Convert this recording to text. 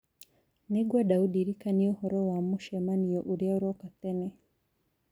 nĩ ngwenda ũndirikanie ũhoro wa mũcemanio ũrĩa ũroka tene